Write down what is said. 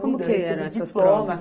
Como que eram essas provas?